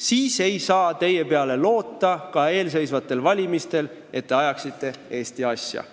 siis ei saa ka eelseisvatel valimistel loota, et te ajate Eesti asja.